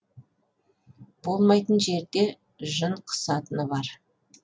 болмайтын жерде жын қысатыны бар